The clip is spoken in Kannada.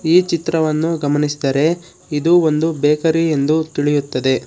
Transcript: ಈ ಚಿತ್ರವನ್ನು ಗಮನಿಸಿದರೆ ಇದು ಒಂದು ಬೇಕರಿ ಎಂದು ತಿಳಿಯುತ್ತದೆ.